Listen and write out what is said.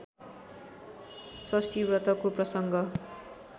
षष्ठी व्रतको प्रसङ्ग